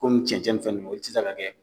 Komi cɛncɛn in fɛn ninnu o tɛ se ka kɛ